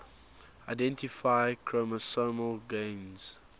identify chromosomal gains